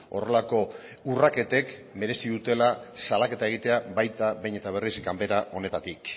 horrelako urraketek merezi dutela salaketa egitea baita behin eta berriz ganbera honetatik